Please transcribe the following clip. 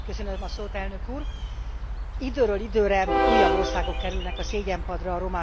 Időről időre újabb országok kerülnek a szégyenpadra a romákkal kapcsolatos bánásmódjuk miatt.